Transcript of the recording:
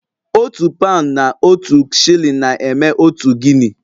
Otu paụnd na otu shilling na-eme otu Guinea